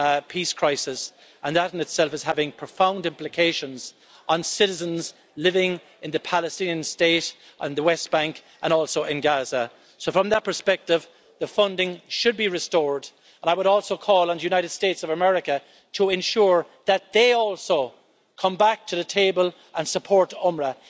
peace crisis, and that in itself is having profound implications on citizens living in the Palestinian State and the West Bank, and also in Gaza. So, from that perspective, the funding should be restored. I would also call on the United States of America to ensure that they also come back to the table and support UNRWA.